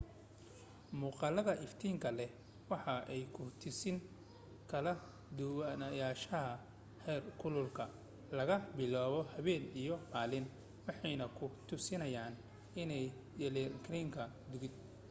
muuqaalada iftiinka leh waxay ku tusayaan kala duwanaanshaha heerkulka laga bilaabo habeen iyo maalin waxayna ku tusinayaan inay yelankaran godad